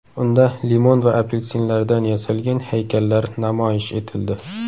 Unda limon va apelsinlardan yasalgan haykallar namoyish etildi.